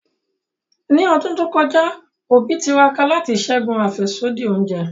Ni ọdun to kọja, Obi tiraka lati ṣẹgun afẹsodi ounjẹ.